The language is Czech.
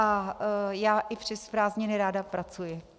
A já i přes prázdniny ráda pracuji.